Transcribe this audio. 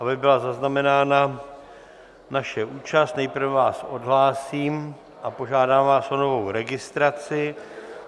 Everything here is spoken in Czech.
Aby byla zaznamenána naše účast, nejprve vás odhlásím a požádám vás o novou registraci.